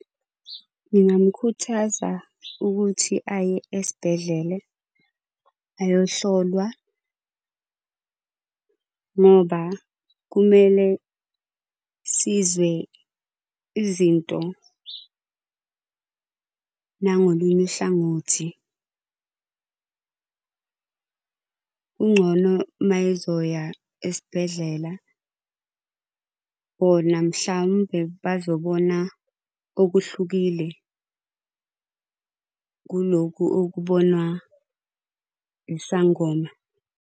Ngingamukhuthaza ukuthi aye esibhedlele, ayohlolwa. Ngoba kumele sizwe izinto nangolunye uhlangothi. Kungcono mayezoya esibhedlela, khona mhlawumbe bazobona okuhlukile kulokhu okubonwa isangoma.